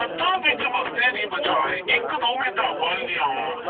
ਹੱਥਾਂ ਵਿਚ ਬਸਤੇ ਦੀ ਬਜਾਏ ਇਕ-ਦੋ ਕਿਤਾਬਾਂ ਲਿਆਉਣ,